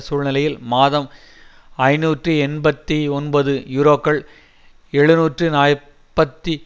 சூழ்நிலையில் மாதம் ஐநூற்று எண்பத்தி ஒன்பது யுரோக்கள் எழுநூற்று நாற்பத்தி